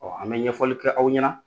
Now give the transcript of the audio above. an bɛ ɲɛfɔli kɛ aw ɲɛna